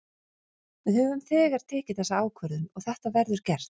Við höfum þegar tekið þessa ákvörðun og þetta verður gert.